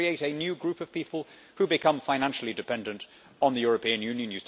You create a new group of people who become financially dependent on the European Union